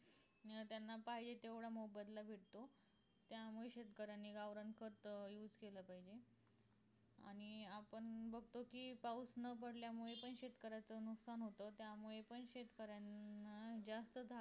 अं त्यांना पाहिजे तेव्हडा मोबदला भेटतो त्यामुळे शेतकऱ्यांनी गावरान खत use केलं पाहिजे आणि आपण बगतो कि पाऊस न पडल्यामुळे शेतकऱ्याचं नुकसान होत त्यामुळे पण शेतकऱ्यान जास्त झाड